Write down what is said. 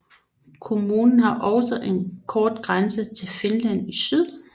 Kommunen har også en kort grænse til Finland i syd